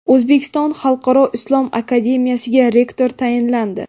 O‘zbekiston xalqaro islom akademiyasiga rektor tayinlandi.